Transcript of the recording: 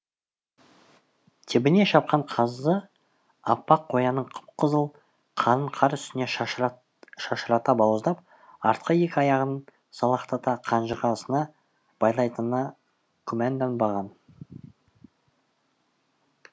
тебіне шапқан қазы аппақ қоянның қып қызыл қанын қар үстіне шашырата бауыздап артқы екі аяғынан салақтата қанжығасына байлайтынына күмәнданбаған